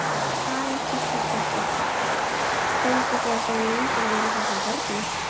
Karen Kjartansdóttir: Fenguð þið að sjá myndir af þessum börnum?